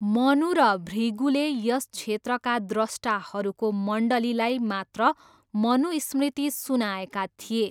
मनु र भृगुले यस क्षेत्रका द्रष्टाहरूको मण्डलीलाई मात्र मनुस्मृति सुनाएका थिए।